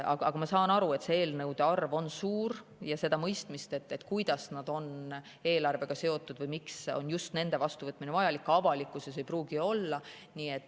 Ma saan aru, et selliste eelnõude arv on suur, ja seda mõistmist, kuidas nad on eelarvega seotud või miks on just nende vastuvõtmine vajalik, avalikkuses ei pruugi olla.